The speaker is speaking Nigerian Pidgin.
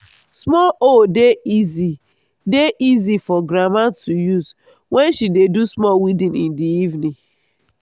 small hoe dey easy dey easy for grandma to use wen she dey do small weeding in the evening